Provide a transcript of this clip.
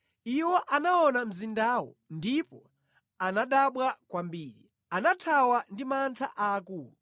iwo anaona mzindawo ndipo anadabwa kwambiri; anathawa ndi mantha aakulu.